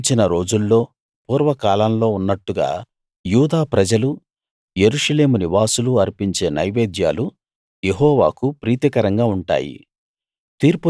గతించిన రోజుల్లో పూర్వకాలంలో ఉన్నట్టుగా యూదా ప్రజలు యెరూషలేము నివాసులు అర్పించే నైవేద్యాలు యెహోవాకు ప్రీతికరంగా ఉంటాయి